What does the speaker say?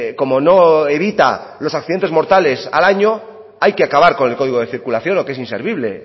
como no evita los accidentes mortales al año hay que acabar con el código de circulación o que es inservible